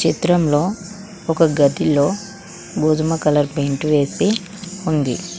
చిత్రంలో ఒక గదిలో గోధుమ కలర్ పెయింట్ వేసి ఉంది.